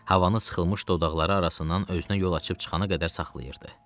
Havanı sıxılmış dodaqları arasından özünə yol açıb çıxana qədər saxlayırdı.